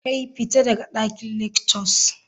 Kai! fita daga dakin lectures.